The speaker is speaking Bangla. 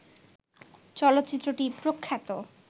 চলচ্চিত্রটি প্রখ্যাত